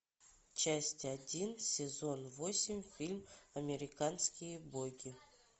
часть один сезон восемь фильм американские боги